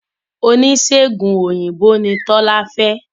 Oníṣègùn òyìnbó ni Tọ́lá fẹ́